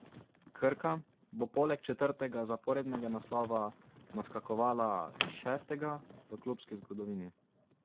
Krka bo poleg četrtega zaporednega naslova naskakovala šestega v klubski zgodovini.